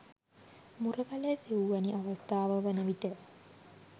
මුරගලේ සිවුවැනි අවස්ථාව වන විට